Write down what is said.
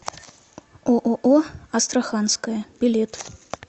ооо астраханская билет